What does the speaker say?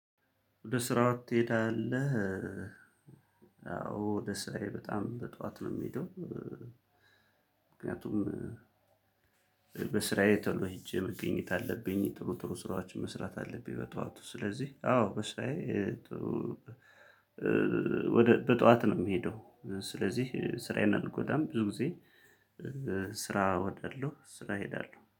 ወደ ስራ ትሄዳለህ? አዎ ወደ ስራዬ በጣም በጧት ነው የምሄደው። ምክንያቱም- በስራዬ ቶሎ ሄጄ መገኘት አለብኝ። ጥሩ ጥሩ ስራዎችን መስራት አለብኝ በጧቱ። ስለዚህ አዎ በስራዬ ጥሩ በጧት ነው የምሄደው። ስለዚህ ስራዬን አንጎዳም ብዙ ጊዜ። ስራ እወዳለሁ። ስራ እሄዳለሁ።